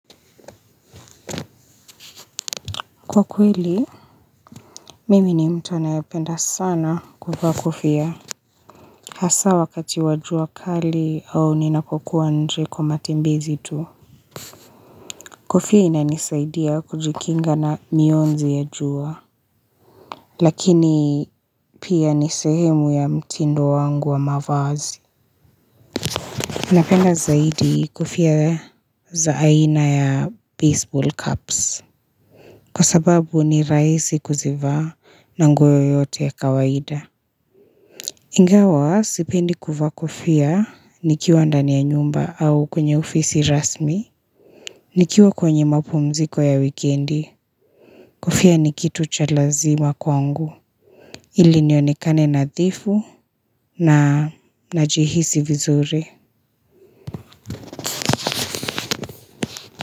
Kwa kweli, mimi ni mtuanaye penda sana kuvaa kofia. Hasa wakati wajua kali au ninapokuwa nje kwa matembezi tu. Kofia inanisaidia kujikinga na miunzi ya jua. Lakini pia nisehemu ya mtindo wangu wa mavazi. Ninapenda zaidi kofia za aina ya baseball cups. Kwa sababu ni raisi kuzivaa na nguo yoyote ya kawaida. Ingawa sipendi kuvaa kofia nikiwa ndani ya nyumba au kwenye ofisi rasmi Nikiwa kwenye mapumziko ya wikendi Kofia nikitu cha lazima kwa ngu Iliniokane na dhifu na najihisi vizuri.